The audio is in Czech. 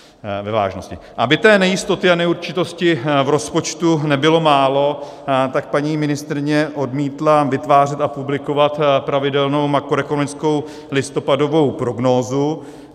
Aby té nejistoty a neurčitosti v rozpočtu nebylo málo, tak paní ministryně odmítla vytvářet a publikovat pravidelnou makroekonomickou listopadovou prognózu.